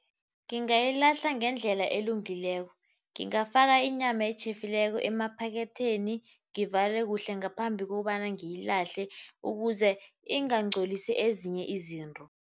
Ngingayilahla ngendlela elungileko. Ngingafaka inyama etjhefileko emaphaketheni, ngivale kuhle ngaphambi kokobana ngiyilahle ukuze ingangcolisi ezinye izinto.